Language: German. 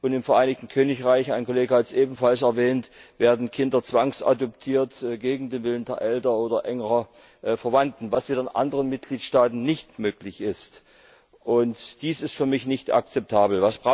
Und im Vereinigten Königreich ein Kollege hat es ebenfalls erwähnt werden Kinder zwangsadoptiert, gegen den Willen der Eltern oder engerer Verwandter, was in anderen Mitgliedstaaten nicht möglich ist. Dies ist für mich nicht akzeptabel.